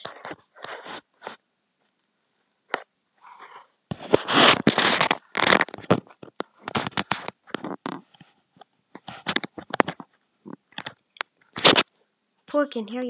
Pokinn hjá Jason